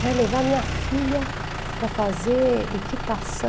Vai levar minha filha para fazer equitação?